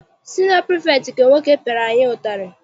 Siniọ pirifektị nke nwoke piara anyị ụtarị.